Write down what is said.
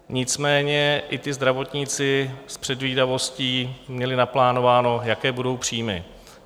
Nicméně i ti zdravotníci s předvídavostí měli naplánováno, jaké budou příjmy.